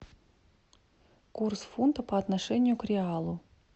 курс фунта по отношению к реалу